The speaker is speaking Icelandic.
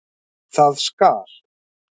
Það skal